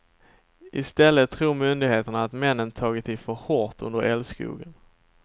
I stället tror myndigheterna att männen tagit i för hårt under älskogen.